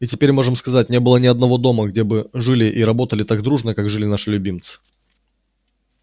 и теперь можем сказать не было ни одного дома где бы жили и работали так дружно как жили наши любимцы